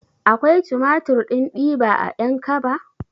Akwai tumatir ɗin diba a ƴankaba?